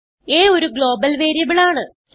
a ഒരു global variable ആണ്